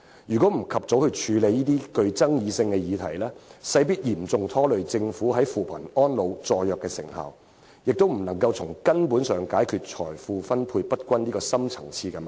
如果不及早處理這個具爭議性的議題，勢必嚴重拖累政府在扶貧、安老、助弱方面的工作成效，也無法從根本解決財富分配不均這個深層次矛盾。